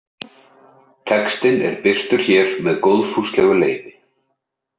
Textinn er birtur hér með góðfúslegu leyfi.